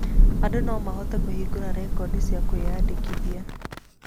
Andũ no mahote kũhingũra rekondi cia kũĩnyandĩkithia.